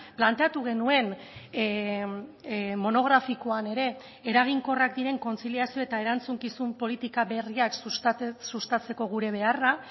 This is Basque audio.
planteatu genuen monografikoan ere eraginkorrak diren kontziliazio eta erantzukizun politika berriak sustatzeko gure beharra